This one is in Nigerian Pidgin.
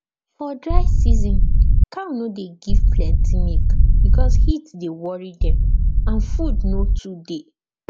for dry season cow no dey give plenty milk because heat dey worry dem and food no too dey